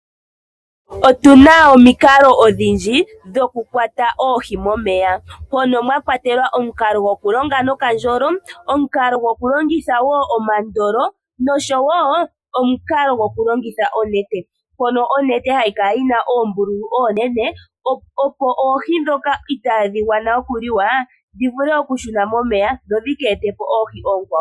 Otuna omikalo odhindji dho ku kwata oohi momeya mono mwakwatelwa omukalo gokukonga nokandjolo, omukalo gokulongitha woo omandolo nosho woo omukalo Goku longitha onete mpono onete hayi kala yina oombululu oonene opo oohi dhoka i taadhi ganwa okuliwa dhi vule okushuna momeya dho dhike e te po oohi ookwawo.